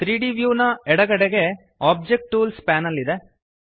3ದ್ ವ್ಯೂ ನ ಎಡಗಡೆಗೆ ಒಬ್ಜೆಕ್ಟ್ ಟೂಲ್ಸ್ ಪ್ಯಾನೆಲ್ ಇದೆ